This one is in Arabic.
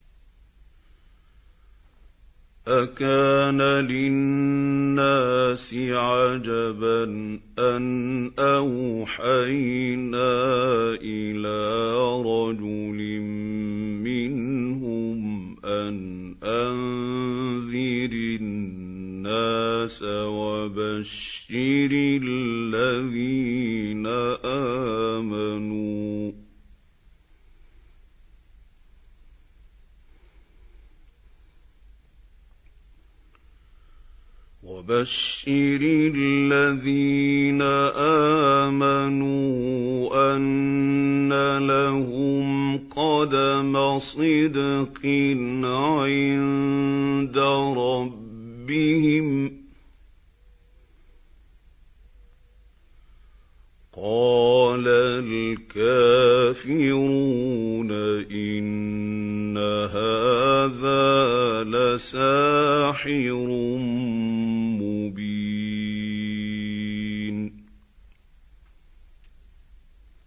أَكَانَ لِلنَّاسِ عَجَبًا أَنْ أَوْحَيْنَا إِلَىٰ رَجُلٍ مِّنْهُمْ أَنْ أَنذِرِ النَّاسَ وَبَشِّرِ الَّذِينَ آمَنُوا أَنَّ لَهُمْ قَدَمَ صِدْقٍ عِندَ رَبِّهِمْ ۗ قَالَ الْكَافِرُونَ إِنَّ هَٰذَا لَسَاحِرٌ مُّبِينٌ